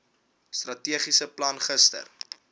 strategiese plan gister